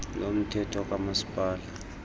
lo mthetho kamasipala